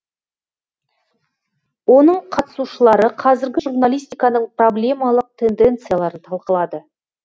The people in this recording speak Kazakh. оның қатысушылары қазіргі журналистиканың проблемалық тенденцияларын талқылады